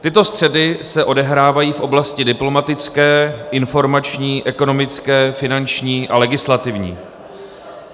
Tyto střety se odehrávají v oblasti diplomatické, informační, ekonomické, finanční a legislativní.